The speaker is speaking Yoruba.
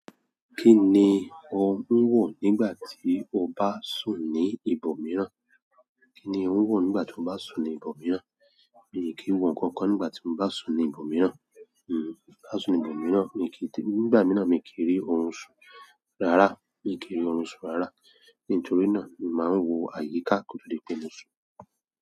Kíni ó ń wò nígbà tí o bá sùn ní ibòmíràn? Kíni ó ń wò nígbà tí o bá sùn ní ibòmíràn? Èmi kì í wo nǹkan kan nígbà tí mo bá sùn ní ibòmíràn. Hmm, bá sùn ní ibòmíràn, mi kí ì té-- nígbà mìíràn mi kì í rí orun sùn. Rárá, mi kì í rí orun sùn rárá. Nítorí náà, mi màá n wo àyíká kótó di pe mo sùn.